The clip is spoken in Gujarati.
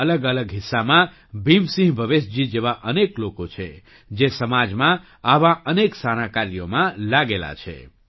દેશના અલગઅલગ હિસ્સામાં ભીમસિંહ ભવેશજી જેવા અનેક લોકો છે જે સમાજમાં આવાં અનેક સારાં કાર્યોમાં લાગેલા છે